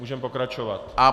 Můžeme pokračovat.